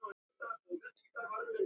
Þetta er ég.